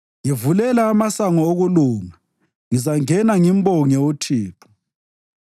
Ngivulela amasango okulunga; ngizangena ngimbonge uThixo.